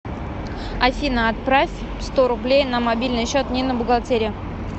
афина отправь сто рублей на мобильный счет нина бухгалтерия